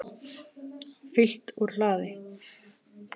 Fylgt úr hlaði